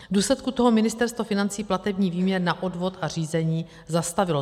V důsledku toho Ministerstvo financí platební výměr na odvod a řízení zastavilo.